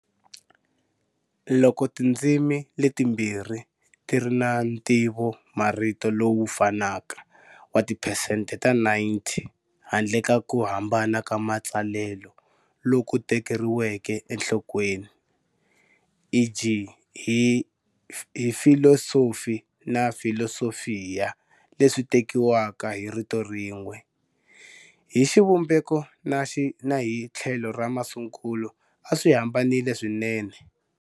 Loko tindzimi letimbirhi ti ri na ntivomarito lowu fanaka wa tiphesente ta 90 handle ka ku hambana ka matsalelo loku tekeriweke enhlokweni, e.g. hi filosofie na philosophia leswi tekiwaka hi rito rin'we, hi xivumbeko na hi tlhelo ra masungulo a swi hambanile swinene.